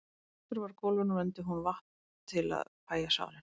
Eldur var á gólfinu og vermdi hún vatn til að fægja sárin.